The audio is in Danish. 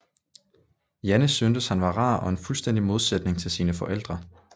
Jane syntes han var rar og en fuldstændig modsætning til sine forældre